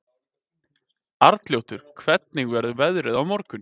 Arnljótur, hvernig verður veðrið á morgun?